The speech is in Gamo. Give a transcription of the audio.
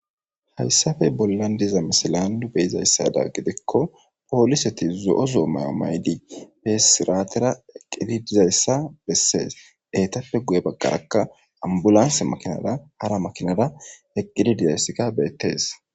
Hayssappe bollan diza misile be7izayssa gidikko poolisethi zo7o zo7o maa7uwa maa7idi besiraatheera eqqidi dizayssa bessees; eethappe guye baggaaraka ambbulansse makiinadan hara maakiinadan eqqidi de7eesika beeththees.